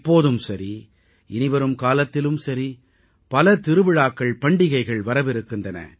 இப்போதும் சரி இனிவரும் காலத்திலும் சரி பல திருவிழாக்கள்பண்டிகைகள் வரவிருக்கின்றன